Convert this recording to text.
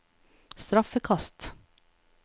straffekast